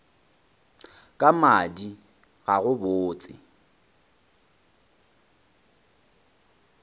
ka madi ga go botse